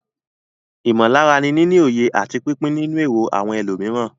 Ìmọ̀lára ni níní òye àti pípín nínú èrò àwọn ẹlòmíràn.